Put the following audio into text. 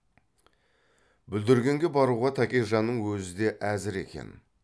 бүлдіргенге баруға тәкежанның өзі де әзір екен